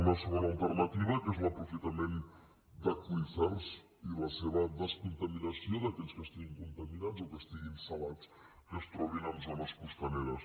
una segona alternativa que és l’aprofitament d’aqüífers i la descontaminació d’aquells que estiguin contaminats o que estiguin salats que es trobin en zones costaneres